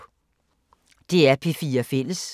DR P4 Fælles